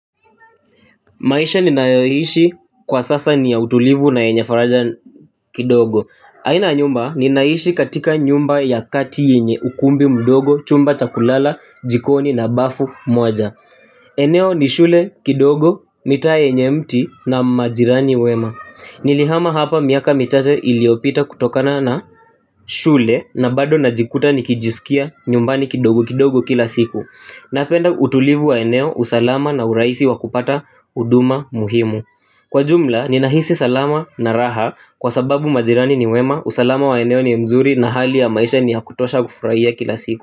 Maisha ninayoishi kwa sasa ni yenye utulivu na faraja kidogo. Aina ya nyumba ninaishi katika nyumba ya kati yenye ukumbi mdogo chumba cha kulala jikoni na bafu moja. Eneo ni shule kidogo mitaa yenye mti na majirani wema. Nilihama hapa miaka michache iliopita kutokana na shule na bado najikuta nikijisikia nyumbani kidogo kidogo kila siku. Napenda utulivu wa eneo, usalama na urahisi wa kupata huduma muhimu. Kwa jumla, ninahisi salama na raha kwa sababu majirani ni wema. Usalama wa eneo ni mzuri na hali ya maisha ni ya kutosha kufurahia kila siku.